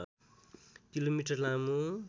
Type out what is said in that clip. kilometre लामो